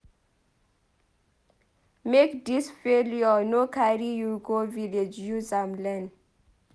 Make dis failure no carry you go village use am learn.